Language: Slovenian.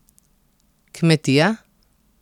Kmetija?